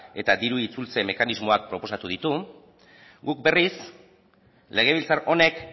eta diru itzultze mekanismoak proposatu ditu guk berriz legebiltzar honek